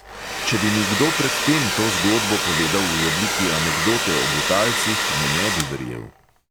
Če bi mi kdo pred tem to zgodbo povedal v obliki anekdote o butalcih, mu ne bi verjel.